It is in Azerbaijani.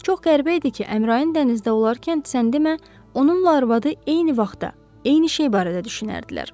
Çox qəribə idi ki, Əmrayin dənizdə olarkən, sən demə, onunla arvadı eyni vaxtda, eyni şey barədə düşünərdilər.